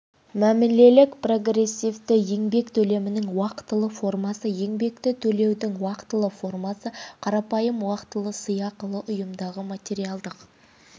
мәмілелік прогрессивті еңбек төлемінің уақытылы формасы еңбекті төлеудің уақытылы формасы қарапайым уақытылы сыйақылы ұйымдағы материалдық